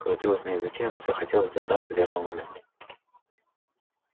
крутилось на языке но всё хотелось дождаться верного момента